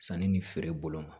Sanni ni feere bolo ma